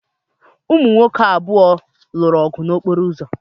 Ụmụ nwoke abụọ lụrụ ọgụ n'okporo ụzọ.